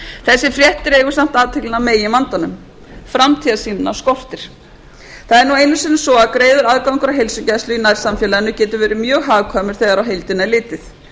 þessi frétt dregur samt athyglina að meginvandanum framtíðarsýnina skortir það er nú einu sinni svo að greiður aðgangur að heilsugæslu í nærsamfélaginu getur verið mjög hagkvæmur þegar á heildina er litið